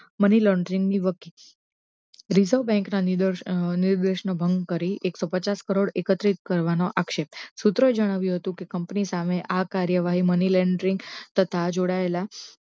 money laundering ની reserve bank ના નીરવેશ નો ભંગ કરી એકસો પચાસ કરોડ એકત્રીત કરવાનો આશેપ, શૂત્રોએ જણાવ્યો હતો કે કંપની સામે આ કાર્યવાહી money laundering થતા જોડાયેલા